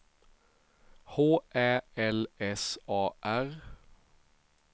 H Ä L S A R